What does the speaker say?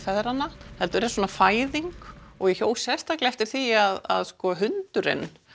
feðranna heldur er svona fæðing og ég hjó sérstaklega eftir því að hundurinn